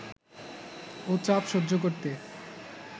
ও চাপ সহ্য করতে